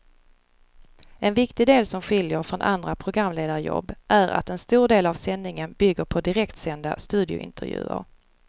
En viktig del som skiljer från andra programledarjobb är att en stor del av sändningen bygger på direktsända studiointervjuer.